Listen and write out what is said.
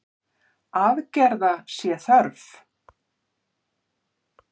Aðgerða sé þörf.